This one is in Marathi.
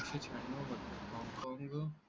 काँगो